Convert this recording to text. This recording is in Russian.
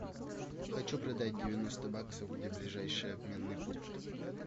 хочу продать девяносто баксов где ближайший обменный пункт